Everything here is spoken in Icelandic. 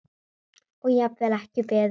Og jafnvel ekki beðinn um.